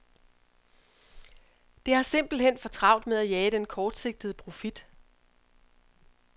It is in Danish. Det har simpelthen for travlt med at jage den kortsigtede profit.